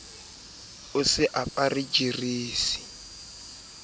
o se a re jwetsitse